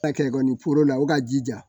A kɛlɛ foro la o ka jija